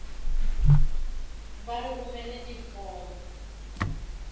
ba re romele di form